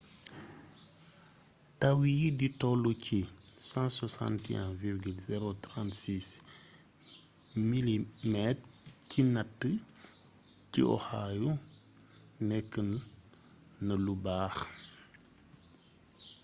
taw yi di tollu ci 161,036 mm ci natt ci oahu nékkna lu baax''